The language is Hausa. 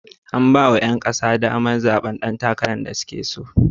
An ba wa 'yan kasa damar zaɓen ɗan takarar da suke so.